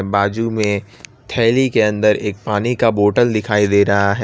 बाजू में थैली के अंदर एक पानी का बॉटल दिखाई दे रहा है।